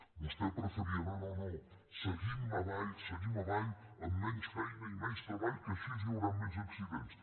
vostè preferia no no seguim avall seguim avall amb menys feina i menys treball que així hi hauran menys accidents